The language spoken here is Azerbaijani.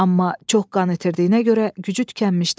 Amma çox qan itirdiyinə görə gücü tükənmişdi.